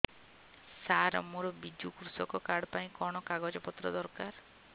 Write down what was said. ସାର ମୋର ବିଜୁ କୃଷକ କାର୍ଡ ପାଇଁ କଣ କାଗଜ ପତ୍ର ଦରକାର